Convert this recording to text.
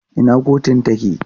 Ina kotun take?